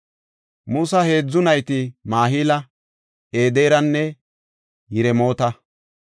Musa heedzu nayti Mahila, Ederanne Yiremoota.